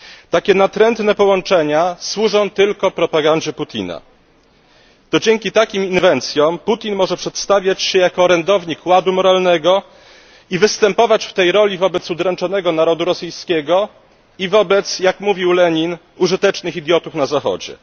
Takie natrętne połączenia służą tylko propagandzie Putina. To dzięki takim inwencjom Putin może przedstawiać się jako orędownik ładu moralnego i występować w tej roli wobec udręczonego narodu rosyjskiego i wobec, jak mówił Lenin, użytecznych idiotów na Zachodzie.